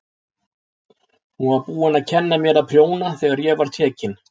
Hún var búin að kenna mér að prjóna þegar ég var tekin.